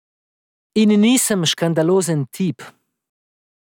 In nisem škandalozen tip.